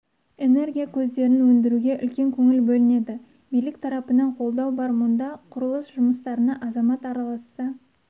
энергия көздерін өндіруге үлкен көңіл бөлінеді билік тарапынан қолдау бар мұнда құрылыс жұмыстарына азамат араласса